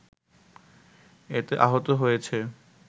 এতে আহত হয়েছে